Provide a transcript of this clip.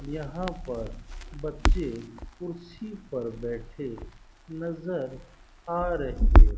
यहाँ पर बच्चे कुर्सी पर बैठे नजर आ रहे --